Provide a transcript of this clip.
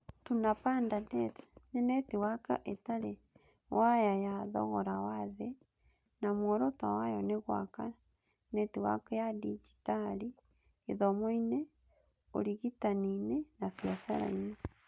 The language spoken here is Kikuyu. Tunapanda NET nĩ netiwaki ĩtarĩ waya na ya thogora wa thĩ na muoroto wayo nĩ gwaka netiwaki ya digitali gĩthomo-inĩ, ũrigitani-inĩ na biacara-inĩ.